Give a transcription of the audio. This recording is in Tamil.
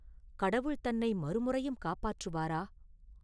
கடவுள் தன்னை மறுமுறையும் காப்பாற்றுவாரா?